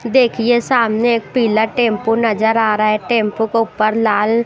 देखिए सामने एक पिला टेंपो नजर आ रहा है टेंपो के ऊपर लाल--